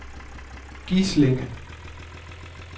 Gislinge